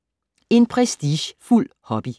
En prestigefuld hobby